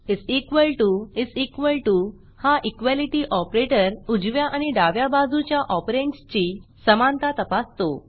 is equal to is equal to हा equalityईक्वालिटी operator उजव्या आणि डाव्या बाजूच्या ऑपरँडसची समानता तपासतो